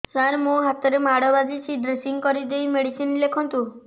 ସାର ମୋ ହାତରେ ମାଡ଼ ବାଜିଛି ଡ୍ରେସିଂ କରିଦେଇ ମେଡିସିନ ଲେଖନ୍ତୁ